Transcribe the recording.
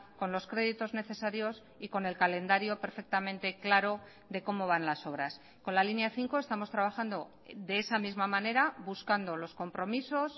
con los créditos necesarios y con el calendario perfectamente claro de cómo van las obras con la línea cinco estamos trabajando de esa misma manera buscando los compromisos